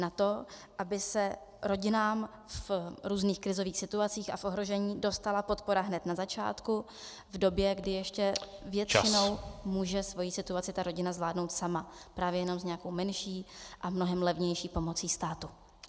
Na to, aby se rodinám v různých krizových situacích a v ohrožení dostala podpora hned na začátku, v době, kdy ještě většinou může svoji situaci ta rodina zvládnout sama, právě jenom s nějakou menší a mnohem levnější pomocí státu.